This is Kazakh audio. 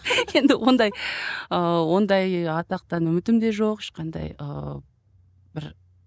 енді ондай ыыы ондай атақтан үмітім де жоқ ешқандай ыыы бір